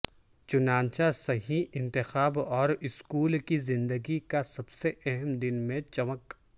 چنانچہ صحیح انتخاب اور اسکول کی زندگی کا سب سے اہم دن میں چمک